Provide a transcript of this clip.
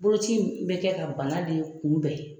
Bolokoci bɛ kɛ ka bana de kunbɛn.